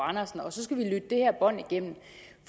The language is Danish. andersen og så skal vi lytte det her bånd igennem